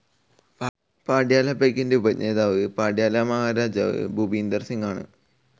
പട്യാല പെഗ്ഗിൻ്റെ ഉപജ്ഞാതാവ് പട്യാലയിലെ മഹാരാജാ ഭൂപീന്ദർ സിംഗ് ആണ്.